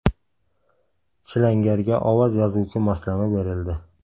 Chilangarga ovoz yozuvchi moslama berildi.